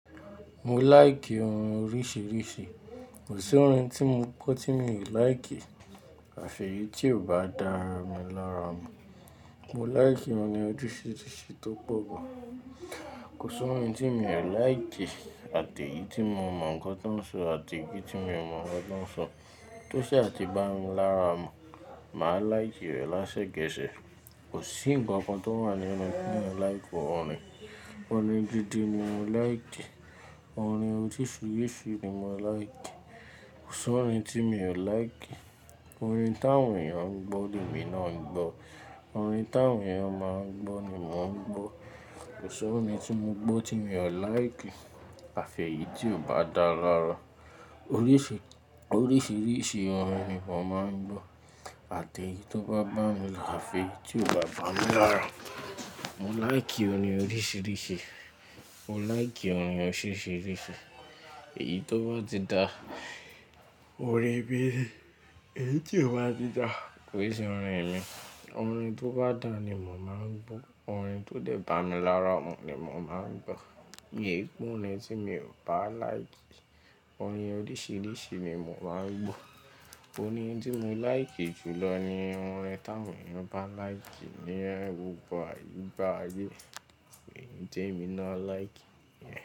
Mo like ohun oríṣiríṣi. Kò sí orin tí mo gbọ́ tí mi ò láìkì, àfẹ́yìntì ò bá dára mi lára mu. Mo laiki orin oríṣiríṣi tó pọ̀ gan. Kò sí orin tí mi ò láìkì àti èyí tí mo mọ̀ nǹkan tí wọ́n sọ àti ìbí tí mi ò mọ̀ nǹkan tí wọ́n sọ. Tó ṣe àti bá mi lára mu, màá láìkì rẹ̀ lásẹ́kẹ̀sẹ̀. Kò sí ńǹkan kan tó wà nínú orin tí mi ò láìkì ọ orin. Orin dídì mi ò láìkì. Orin oríṣiríṣi mi mò láìkì. Kò sí orin tí mi ò láìkì. Orin táwọn èèyàn gbọ́ ni mi náà ń gbọ́. Orin táwọn èèyàn máa ń gbọ́ ni mò ń gbọ́. Kò sí orin tí mo gbọ́ tí mi ò láìkì àfẹ́yì tì ò bá dára lára. Oríṣi, oríṣiríṣi orin ni mò máa ń gbọ́. Àti èyí tó bá bá mi láfẹ̀, tí ò bá bá mi lára, mo like orin oríṣiríṣi. Mo like orin oríṣiríṣi. Èyí tó bá ti da, orín mí, èyí tí kò bá ti da, kò e ṣe orin mi. Orin tó bá dára ni mò máa ń gbọ́. Orin tó dẹ̀ bá mi lára mu ni mò máa ń gbọ́. Mio n gbọ́ orin tí mi ò bá láìkì. Orin oríṣiríṣi ni mò máa ń gbọ́. Orin tí mo like jù lọ ni orin táwọn èèyàn bá láìkì ni orin gbogbo àyíébáyé kì í ṣe orin tí èmi náà like.